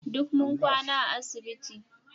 Duk mun kwana a asibiti